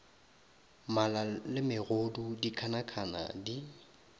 mala le megodu dikhanakhana di